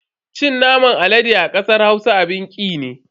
Cin naman alade a kasar Hausa abin ki ne.